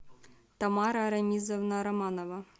тамара арамизовна романова